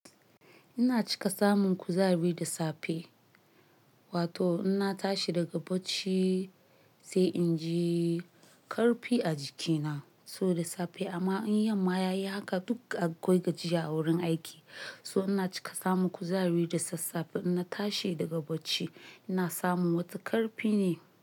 Ina cika samun kuzari da safe, wato ina tashi daga bacci sai inji karfi a jikina so da safe. Amma in yamma yayi haka duk akwai gajiya a wurin aiki. So ina cika samun kuzari da sassafe ina tashi daga bacci, ina samu wata karfi ne.